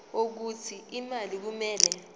wokuthi imali kumele